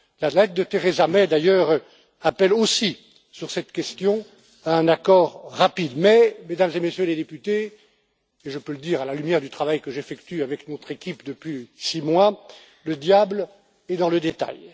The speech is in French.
La lettre de Theresa May, d'ailleurs, appelle aussi sur cette question un accord rapide. Mais, Mesdames et Messieurs les députés et je peux le dire à la lumière du travail que j'effectue avec notre équipe depuis six mois le diable est dans les détails.